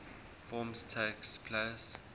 forms takes place